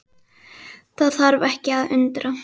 Það þarf ekki að undra.